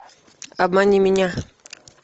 обмани меня